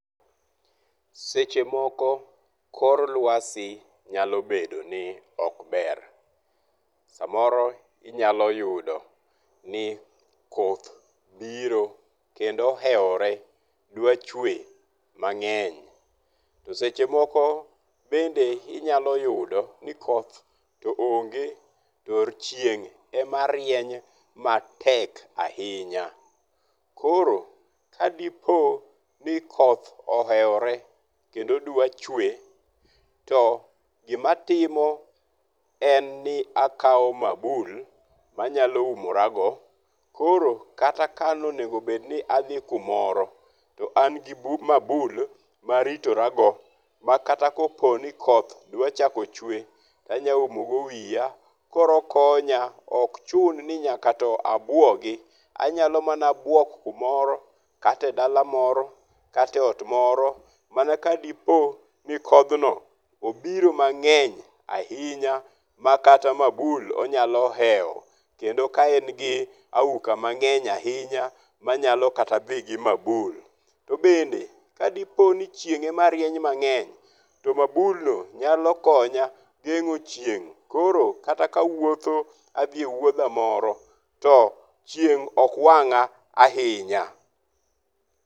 Seche moko kor luasi nyalobedo ni ok ber. Samoro inyalo yudo ni koth biro kendo ohewore dwa chwe mang'eny. To seche moko bende inyaloyudo ni koth to onge to chieng' ema rieny matek ahinya. Koro ka dipo ni koth ohewore kendo dwa chwe to gima timo en ni akawo mabul manyalo umorago koro kata ka onegobed ni adhi kumoro to an bi mabul maritorago. Makata kopo ni koth dwa chako chwe to anyaumo go wiya. Koro okonya. Ok chun ni nyaka to abuogi. Anyalo mana buok kumoro kata e dala moro kata e ot moro mana ka dipo ni kodhno obiro mang'eny ahinya ma kata mabul onyalo hewo kendo ka en gi auka mang'eny ahinya manyalo kata dhi gi mabul. To bende kadipo ni chieng' ema rieny mang'eny, to mabul no nyalo konya geng'o chieng. Koro kata ka awuotho adhi e wuodha moro chieng' ok wang'a ahinya.